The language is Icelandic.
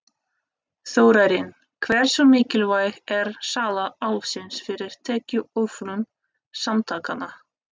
Þórarinn, hversu mikilvæg er sala Álfsins fyrir tekjuöflun samtakanna?